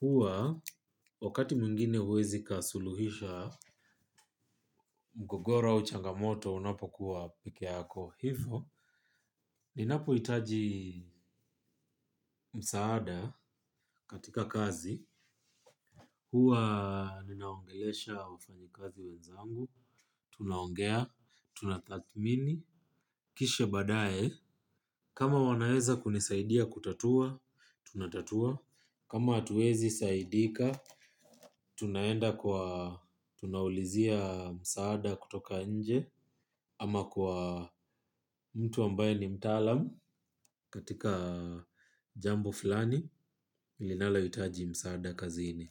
huwa wakati mwingine huwezi kasuluhisha mgogora au changamoto unapokuwa peke yako hivyo. Ninapu hitaji msaada katika kazi, huwa ninaongelesha wafanyakazi wenzangu, tunaongea, tunatathmini, kisha badae. Kama wanaeza kunisaidia kutatua, tunatatua. Kama atuezi saidika, tunaenda kwa tunawulizia msaada kutoka enje ama kwa mtu ambaye ni mtalam katika jambo filani, milinala yitaji msaada kazini.